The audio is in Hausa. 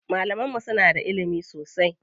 Malaman mu suna da ilimi sosai.